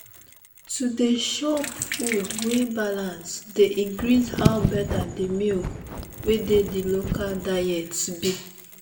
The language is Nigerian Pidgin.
to dey chop food wey balance dey increase how better the milk wey dey the local diets be.